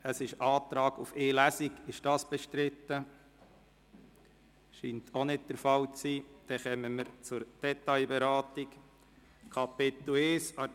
Es wurde Antrag auf die Durchführung von nur einer Lesung gestellt.